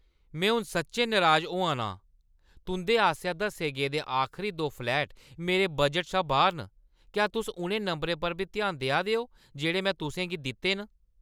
में हून सच्चैं नराज होआ ना आं। तुंʼदे आसेआ दस्से गेदे आखरी दो फ्लैट मेरे बजट शा बाह्‌र न। क्या तुस उ'नें नंबरें पर बी ध्यान देआ दे ओ जेह्ड़े में तुसें गी दित्ते दे न?